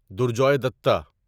درجوے دتہ